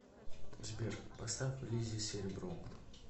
сбер поставь лизи серебро